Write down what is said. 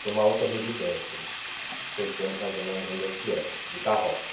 para uma outra residência, que eu sei mais ou menos onde é que é, de carroça.